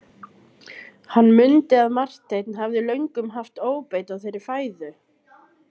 Hann mundi að Marteinn hafði löngum haft óbeit á þeirri fæðu.